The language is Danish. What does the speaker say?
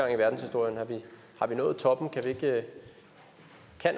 i verdenshistorien har vi nået toppen kan